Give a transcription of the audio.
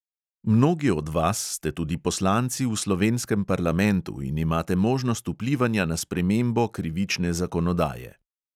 Mnogi od vas ste tudi poslanci v slovenskem parlamentu in imate možnost vplivanja na spremembo krivične zakonodaje.